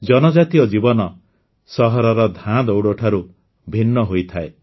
ଜନଜାତୀୟ ଜୀବନ ସହରର ଧାଁଦୌଡ଼ ଠାରୁ ଭିନ୍ନ ହୋଇଥାଏ